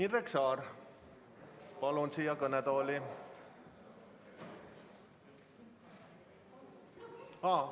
Indrek Saar, palun siia kõnetooli!